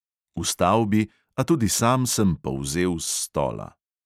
Vstal bi, a tudi sam sem polzel s stola.